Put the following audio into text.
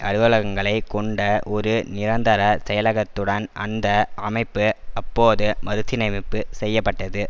அலுவலகங்களை கொண்ட ஒரு நிரந்தர செயலகத்துடன் அந்த அமைப்பு அப்போது மறுசீரமைப்பு செய்ய பட்டது